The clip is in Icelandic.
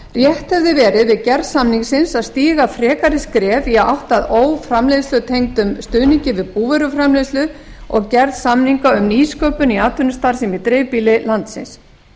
rétt hefði verið við gerð samningsins að stíga frekari skref í átt að óframleiðslutengdum stuðningi við búvöruframleiðslu og gerð samninga um nýsköpun í atvinnustarfsemi í dreifbýli landsins